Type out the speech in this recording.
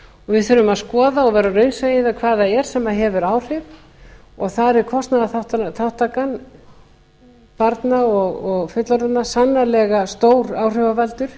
við þurfum að skoða og vera raunsæ hvað það er sem hefur áhrif og þar er kostnaðarþátttaka barna og fullorðinna sannarlega stór áhrifavaldur